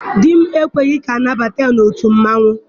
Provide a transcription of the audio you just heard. Di m ekweghị ka a nabata ya n'otu mmanwụ.